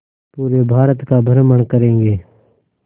पूरे भारत का भ्रमण करेंगे